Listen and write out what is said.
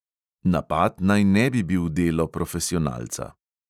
Napad naj ne bi bil delo profesionalca.